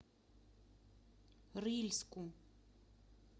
рыльску